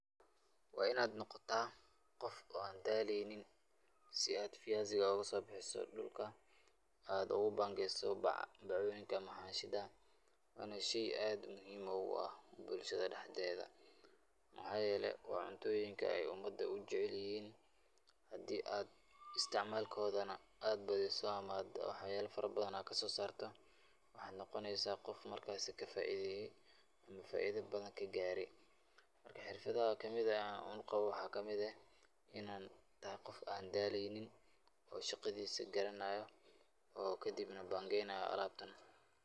Waa inaad noqotaa qof oo aan daleeynin, si aad fiyaasika ooga soo bixiso dulka, aad ugu bangeeso bac ama xaanshida, waana sheey aad muhiim ugu ah bulshada dexdeeda, mxaa yeele waa cuntooyinka aay umada ujecel yihiin, hadii aad isticmaalkooda na ad badiso ama wax yaaba badan kasoo saarto waxaad noqoneysa qof markaasi ka faideeste, ama faaida badan lagaare, marka xirfadaha kamid ah aan qabo waxaa kamid ah, inaa tahay qof aan daleeynin oo shaqadiisa garanaayo oo kadib na bangeeynayo alaabtan.